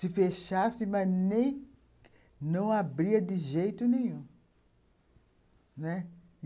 Se fechassem, mas nem... não abria de jeito nenhum, né.